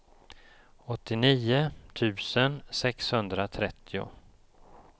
åttionio tusen sexhundratrettio